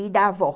e da avó.